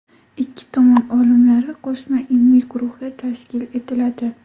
Ikki tomon olimlari qo‘shma ilmiy guruhi tashkil etiladi.